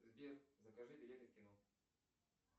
сбер закажи билеты в кино